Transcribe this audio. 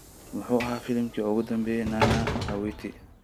muxuu ahaa filimki ugu dambeeyay nana awiti